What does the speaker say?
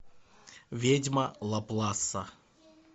ведьма лапласа